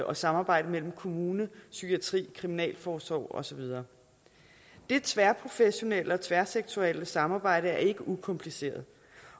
og samarbejde mellem kommune psykiatri kriminalforsorg og så videre det tværprofessionelle og tværsektoriale samarbejde er ikke ukompliceret